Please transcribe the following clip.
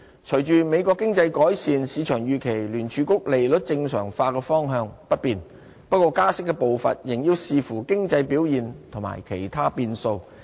隨着美國經濟改善，市場預期聯儲局利率正常化的方向不變，不過加息步伐仍要視乎經濟表現和其他變數。